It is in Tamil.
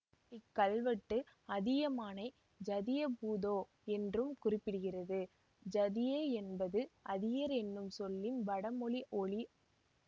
இக் கல்வெட்டு அதியமானை ஸதியபுதோ என்றும் குறிப்பிடுகிறது ஸதிய என்பது அதியர் என்னும் சொல்லின் வடமொழி ஒலி